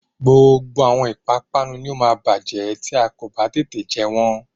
Gbogbo àwọn ìpápánu ni ó máa bájẹ́ tí a kò bá tètè jẹ wọ́n